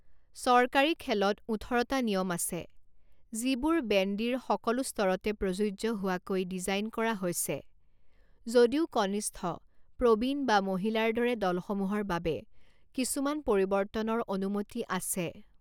চৰকাৰী খেলত ওঠৰটা নিয়ম আছে, যিবোৰ বেণ্ডীৰ সকলো স্তৰতে প্ৰযোজ্য হোৱাকৈ ডিজাইন কৰা হৈছে, যদিও কনিষ্ঠ, প্ৰবীণ বা মহিলাৰ দৰে দলসমূহৰ বাবে কিছুমান পৰিৱৰ্তনৰ অনুমতি আছে।